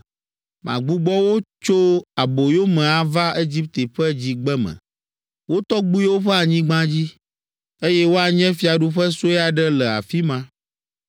Magbugbɔ wo tso aboyome ava Egipte ƒe Dzigbeme, wo tɔgbuiwo ƒe anyigba dzi, eye woanye fiaɖuƒe sue aɖe le afi ma.